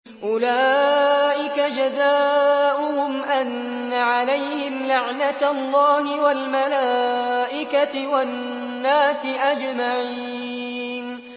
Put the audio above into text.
أُولَٰئِكَ جَزَاؤُهُمْ أَنَّ عَلَيْهِمْ لَعْنَةَ اللَّهِ وَالْمَلَائِكَةِ وَالنَّاسِ أَجْمَعِينَ